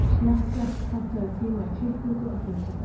Snekkja, pantaðu tíma í klippingu á fimmtudaginn.